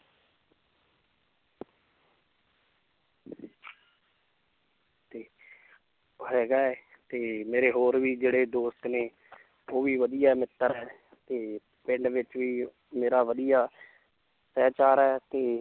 ਤੇ ਹੈਗਾ ਹੈ ਤੇ ਮੇਰੇ ਹੋਰ ਵੀ ਜਿਹੜੇ ਦੋਸਤ ਨੇ ਉਹ ਵੀ ਵਧੀਆ ਮਿੱਤਰ ਹੈ ਤੇ ਪਿੰਡ ਵਿੱਚ ਵੀ ਮੇਰਾ ਵਧੀਆ ਹੈ ਤੇ